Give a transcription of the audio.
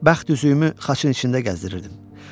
Bəxt üzüyümü xaçın içində gəzdirirdim.